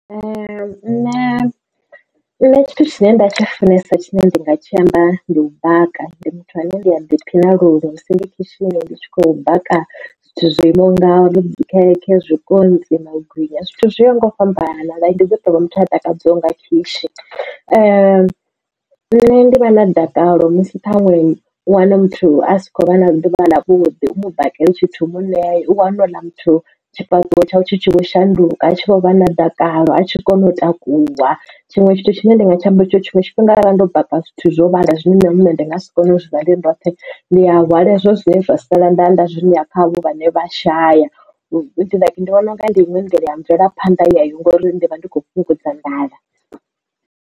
Nṋe na tshithu tshine nda tshi funesa tshine nda nga tshi amba ndi u baka, ndi muthu ane ndi a ḓi phina linwe musi ndi khishini ndi tshi khou baka zwithu zwo imaho ngauri dzi khekhe, zwikontsi, magwinya. Zwithu zwoyaho nga u fhambana ndi ḓi tovha muthu a takadzwaho nga khoshi nṋe ndi vha na dakalo musi ṱhaṅwe wana muthu a si khou vha na ḓuvha ḽa vhuḓi u mu bakele tshithu u mu ṋee. U wane u ḽa muthu tshifhaṱuwo tshawe tshi tshi vho shanduka a tshi vho vha na dakalo a tshi kone u takuwa tshiṅwe tshithu tshine nda nga tshiamba ndi tshori tshiṅwe tshifhinga ara ndo baka zwithu zwo vhala zwine nṋe muṋe ndi nga si kone u zwi ḽa ndi ndoṱhe ndi a hwala hezwo zwine zwa sala ndaḓa zwino ya khavho vhane vha shaya ndi vhona unga ndi iṅwe nḓila ya mvelaphanḓa yeyo ngori ndivha ndikho fhungudza nḓala.